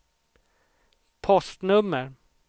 postnummer